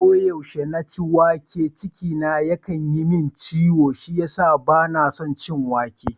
Ko yaushe na ci wake, ciki na yakan yi min ciwo shi yasa ban son wake.